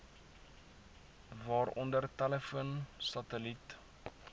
waaronder telefoon satelliet